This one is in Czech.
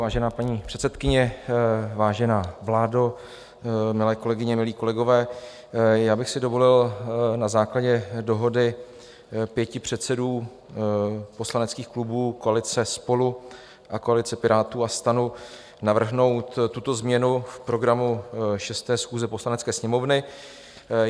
Vážená paní předsedkyně, vážená vládo, milé kolegyně, milí kolegové, já bych si dovolil na základě dohody pěti předsedů poslaneckých klubů koalice SPOLU a koalice Pirátů a STAN navrhnout tuto změnu v programu 6. schůze Poslanecké sněmovny.